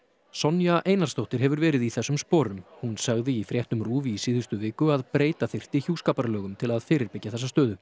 Sonja Einarsdóttir hefur verið í þessum sporum hún sagði í fréttum RÚV í síðustu viku að breyta þyrfti hjúskaparlögum til að fyrirbyggja þessa stöðu